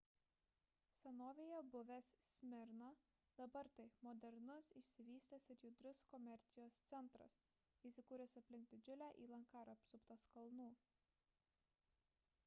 senovėje buvęs smirna dabar tai – modernus išsivystęs ir judrus komercijos centras įsikūręs aplink didžiulę įlanką ir apsuptas kalnų